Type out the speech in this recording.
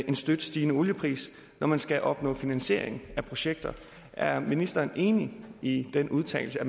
en støt stigende oliepris når man skal opnå finansiering af projekter er ministeren enig i den udtalelse